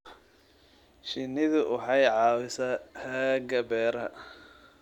Shinnidu waxay caawisaa xagga beeraha.